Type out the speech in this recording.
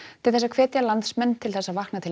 til þess að hvetja landsmenn til þess að vakna til